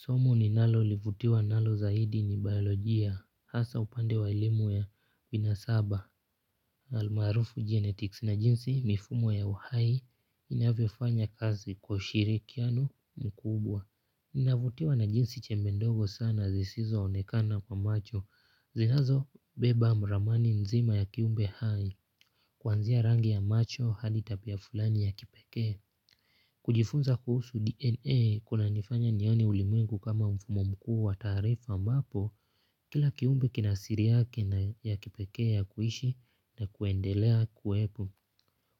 Somo ninalolivutiwa nalo zaidi ni biolojia hasa upande wa elimu ya binasaba. Almaarufu genetics na jinsi mifumo ya uhai inavyofanya kazi kwa ushirikiano mkubwa. Ninavutiwa na jinsi chembe ndogo sana zisizoonekana kwa macho. Zinazobeba mramani nzima ya kiumbe hai. Kuanzia rangi ya macho hadi tabia fulani ya kipekee. Kujifunza kuhusu DNA kunanifanya nione ulimengu kama mfumo mkuu wa taarifa ambapo kila kiumbe kinasiri yake na ya kipekee ya kuishi na kuendelea kuwepo.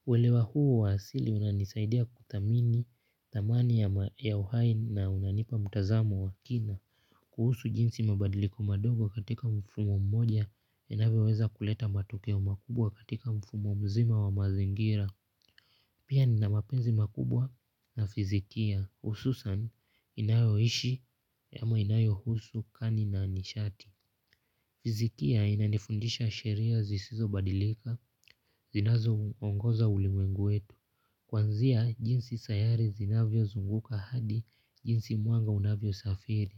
Welewa huu wa asili unanisaidia kuthamini thamani ya uhai na unanipa mtazamo wa kina. Kuhusu jinsi mabadiliko madogo katika mfumo mmoja yanavyoweza kuleta matokeo makubwa katika mfumo mzima wa mazingira. Pia ni na mapenzi makubwa na fizikia hususan inayoishi ama inayohusu kani na nishati. Fizikia inanifundisha sheria zisizobadilika zinazoongoza ulimwengu wetu. Kuanzia jinsi sayari zinavyozunguka hadi jinsi mwanga unavyosafiri.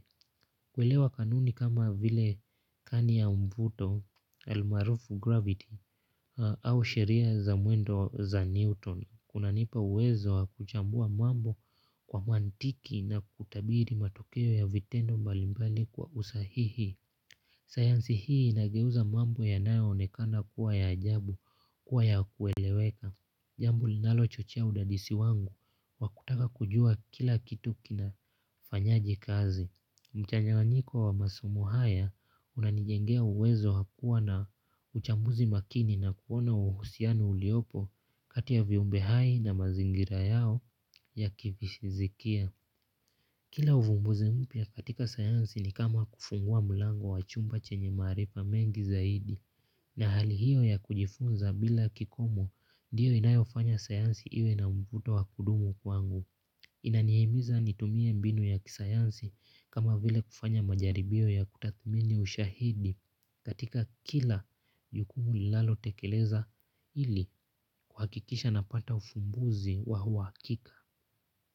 Kuelewa kanuni kama vile kani ya mvuto, almaarufu gravity au sheria za mwendo za Newton. Kunanipa uwezo hakuchambua mambo kwa mantiki na kutabiri matokeo ya vitendo mbalimbali kwa usahihi. Sayansi hii inageuza mambo yanayoonekana kuwa ya ajabu kuwa ya kueleweka. Jambo linalochochea udadisi wangu wakutaka kujua kila kitu kinafanyaje kazi. Mchanganyiko wa masomu haya unanijengea uwezo wakuwa na uchambuzi makini na kuona uhusiano uliopo kati ya viumbe hai na mazingira yao ya kivizikia. Kila uvumbuzi mpya katika sayansi ni kama kufungua mlango wa chumba chenye maarifa mengi zaidi na hali hiyo ya kujifunza bila kikomo ndiyo inayofanya sayansi iwe na mvuto wa kudumu kwangu. Inanihimiza nitumie mbinu ya kisayansi kama vile kufanya majaribio ya kutathmini ushahidi katika kila jukumu ninalotekeleza ili kwa kikisha napata ufumbuzi wa uhakika.